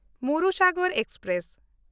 Marusagar express